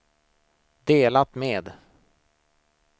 delat med